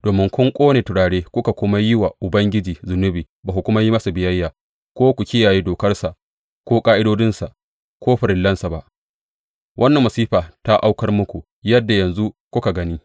Domin kun ƙone turare kuka kuma yi wa Ubangiji zunubi ba ku kuma yi masa biyayya ko ku kiyaye dokarsa ko ƙa’idodinsa ko farillansa ba, wannan masifa ta aukar muku, yadda yanzu kuka gani.